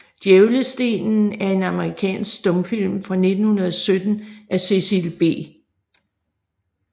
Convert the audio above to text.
Djævlestenen er en amerikansk stumfilm fra 1917 af Cecil B